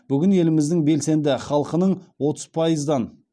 бүгін еліміздің белсенді халқының отыз пайыздан